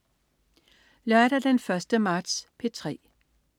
Lørdag den 1. marts - P3: